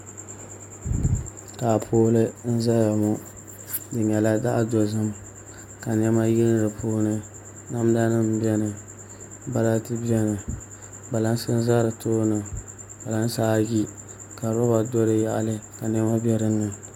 Taapooli n ʒɛya ŋɔ di nyɛla zaɣ dozim ka niɛma yili di puuni namda nim biɛni balati biɛni kpalansi n ʒɛ di tooni kpalansi ayi ka roba do di tooni ka niɛma bɛ dinni